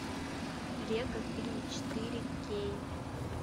лего фильм четыре кей